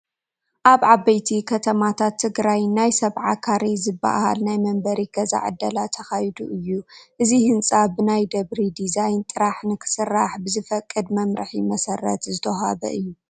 ኣብ ዓበይቲ ከተማታት ትግራይ ናይ ሰብዓ ካሬ ዝበሃል ናይ መንበሪ ገዛ ዕደላ ተኻይዱ እዩ፡፡ እዚ ህንፃ ብናይ ደብሪ ዲዛይን ጥራሕ ንክስራሕ ብዝፈቅድ መምርሒ መሰረት ዝተዋህበ እዩ፡፡